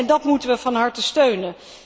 Dat moeten we van harte steunen.